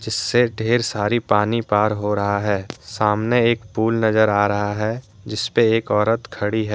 इससे ढेर सारी पानी पार हो रहा है सामने एक पूल नजर आ रहा है जिस पे एक औरत खड़ी है।